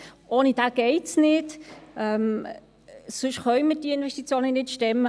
Ohne diesen geht es nicht, sonst können wir die Investitionen nicht stemmen.